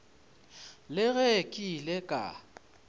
le ge ke ile ka